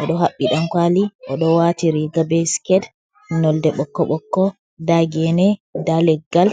oɗo haɓɓi dankwali, oɗo wati riga be siket nolde bokko bokko, nda gene nda leggal.